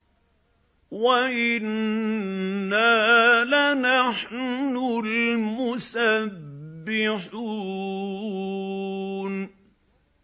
وَإِنَّا لَنَحْنُ الْمُسَبِّحُونَ